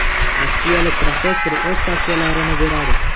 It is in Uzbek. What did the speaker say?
Rossiyalik professor o‘z tavsiyalarini beradi.